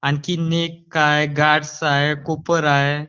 आणखी एक काय गार्डस आहे कूपर आहे